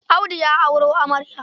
Audu ya auro amarya.